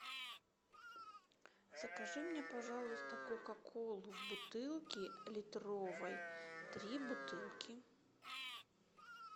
закажи мне пожалуйста кока колу в бутылке литровой три бутылки